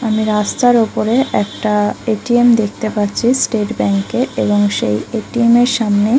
আমি রাস্তার উপরে একটা এ.টি.এম দেখতে পাচ্ছি স্টেট ব্যাংক এর এবং সেই এ.টি.এম এর সামনে-- ।